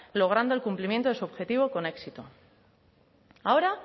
logrando el cumplimiento de su objetivo con éxito ahora